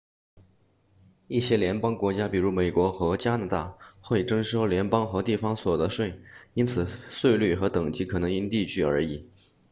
一些联邦国家比如美国和加拿大会征收联邦和地方所得税因此税率和等级可能因地区而异